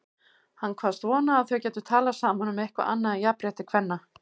Hann kvaðst vona að þau gætu talað saman um eitthvað annað en jafnrétti kvenna.